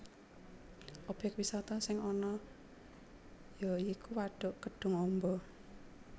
Obyek wisata sing ana ya iku wadhuk Kedhung Amba